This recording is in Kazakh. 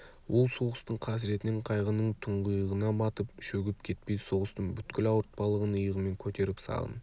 ол соғыстың қасіретінен қайғының тұңғиығына батып шөгіп кетпей соғыстың бүткіл ауыртпалығын иығымен көтеріп сағын